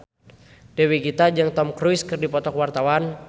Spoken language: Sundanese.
Dewi Gita jeung Tom Cruise keur dipoto ku wartawan